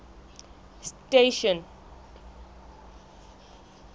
station